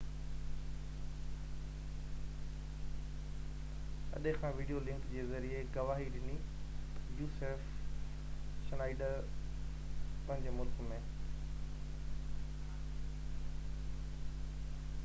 Schneider پنهنجي ملڪ ۾ usaf اڏي کان وڊيو لنڪ جي ذريعي گواهي ڏني